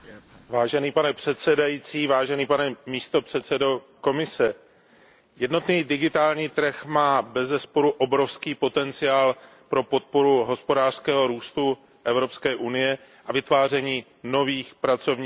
Pane předsedající, pane místopředsedo Komise, jednotný digitální trh má bezesporu obrovský potenciál pro podporu hospodářského růstu Evropské unie a vytváření nových pracovních míst.